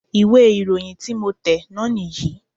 ìwé ìròyìn tí mo tẹ̀ náà nì yí